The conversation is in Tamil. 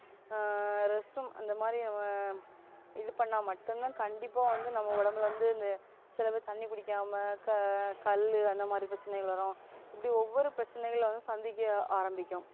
ஆஹ் rest room அந்தமாதிரி நம்ம இது பண்ணா மட்டும்தான் கண்டிப்பா வந்து நம்ம உடம்புல வந்து இந்த சில பேர் தண்ணி குடிக்காம கல்லு கல்லு அந்தமாதிரி பிரச்சனைகள் வரும் இப்படி ஒவ்வொரு பிரச்சனைகளை சந்திக்க ஆரம்பிக்கும்